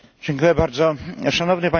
Szanowny Panie Przewodniczący!